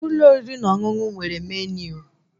Ụlọ oriri na ọṅụṅụ nwere meniu